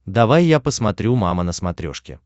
давай я посмотрю мама на смотрешке